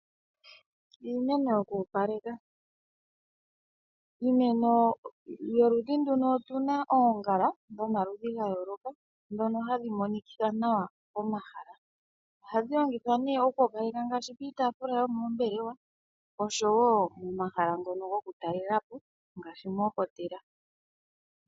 Iimeno yoku opaleka, iimeno yoludhi nduno otuna oongala dhomaludhi gayooloka dhono hashi monikitha nawa omahala. Ohadhi longitha nee ngaashi opiitaafula yomoombelewa nosho woo momahala ngono goku talelapo ngaashi omoohotela.